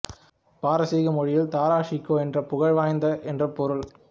பாரசீக மொழியில் தாரா ஷிகோ என்றால் புகழ் வாய்ந்தவன் என்று பொருள்